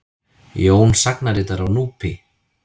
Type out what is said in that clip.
Jón sagnaritara á Núpi.